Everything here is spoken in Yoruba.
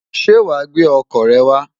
Ṣé wàá gbé ọkọ̀ rẹ wá?